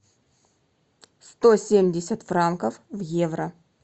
сто семьдесят франков в евро